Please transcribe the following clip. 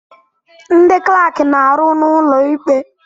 Ndị klaaki na-arụ n'ụlọ ikpe.